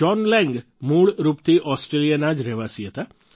John Laing મૂળ રૂપથી ઓસ્ટ્રેલિયાના જ રહેવાસી હતા